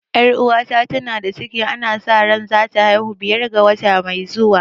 Ƴar uwata ta na da ciki ana sa ran za ta haihu biyar ga wata mai zuwa